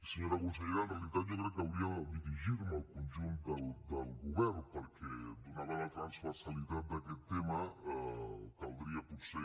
senyora consellera en realitat jo crec que hauria de dirigir me al conjunt del govern perquè donada la transversalitat d’aquest tema caldria potser